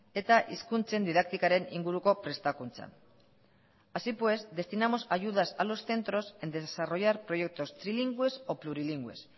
eta hizkuntzen didaktikaren inguruko prestakuntzan así pues destinamos ayudas a los centros en desarrollar proyectos trilingües o plurilingües